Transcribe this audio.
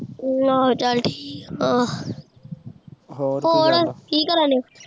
ਆਹੋ ਚੱਲ ਠੀਕ ਆ ਹੋਰ ਕੀ ਕਰਨ ਡਯੇ ਸੀ